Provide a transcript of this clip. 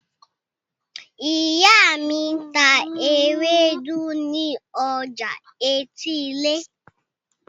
Ìyá mi ń ta ewédú ní ọjà etílé.